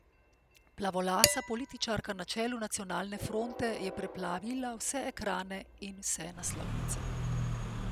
Plavolasa političarka na čelu Nacionalne fronte je preplavila vse ekrane in vse naslovnice.